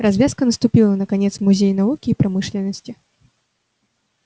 развязка наступила наконец в музее науки и промышленности